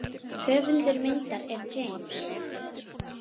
Höfundur myndar er James.